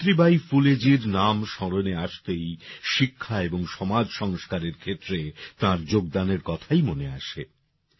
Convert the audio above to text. সাবিত্রীবাঈ ফুলেজীর নাম স্মরণে আসতেই শিক্ষা এবং সমাজ সংস্কারের ক্ষেত্রে তাঁর যোগদানের কথাই মনে আসে